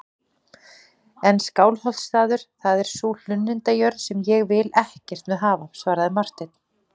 En Skálholtsstaður, það er sú hlunnindajörð sem ég vil ekkert með hafa, svaraði Marteinn.